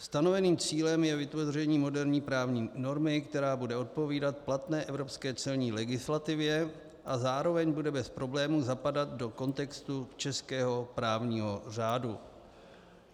Stanoveným cílem je vytvoření moderní právní normy, která bude odpovídat platné evropské celní legislativě a zároveň bude bez problémů zapadat do kontextu českého právního řádu.